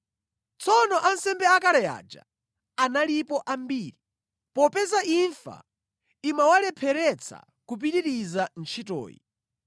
Tsono ansembe akale aja analipo ambiri, popeza imfa imawalepheretsa kupitiriza ntchitoyi.